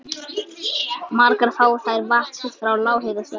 Margar fá þær vatn sitt frá lághitasvæðum.